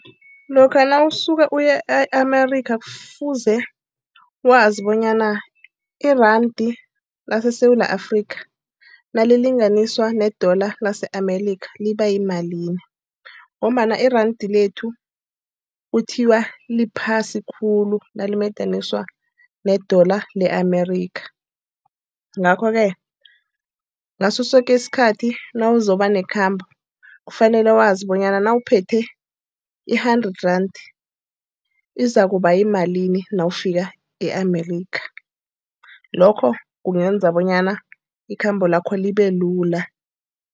Lokha nawusuka uya e-America kufuze wazi bonyana iranda leSewula Afrika nalilinganiselwa ne-dollar lase-America liba yimalini, ngombana iranda lethu kuthiwa liphasi khulu nalimadaniswa ne-dollar le-America. Ngakho-ke ngaso soke isikhathi nawuzokuba nekhambo kufanele wazi bonyana nawuphethe i-hundred rand izakuba yimalini nawufika e-America. Lokho kungenza bonyana ikhambo lakho libelula.